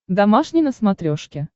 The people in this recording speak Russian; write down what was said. домашний на смотрешке